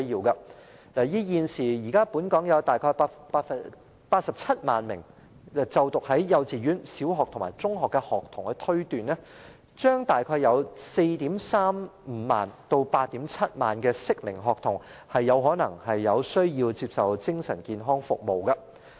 以現時本港約有87萬名在幼稚園、小學和中學就讀的學童推斷，大約將有 43,500 名至 87,000 名適齡學童可能有需要接受精神健康服務。